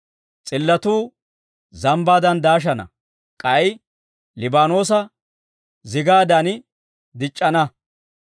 S'illotuu zambbaadan daashana; k'ay Liibaanoosa zigaadan dic'c'ana.